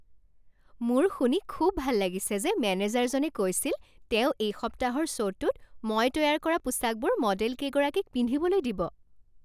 মোৰ শুনি খুব ভাল লাগিছে যে মেনেজাৰজনে কৈছিল, তেওঁ এই সপ্তাহৰ শ্ব'টোত মই তৈয়াৰ কৰা পোচাকবোৰ মডেলকেইগৰাকীক পিন্ধিবলৈ দিব।